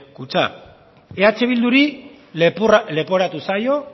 kutxa eh bilduri leporatu zaio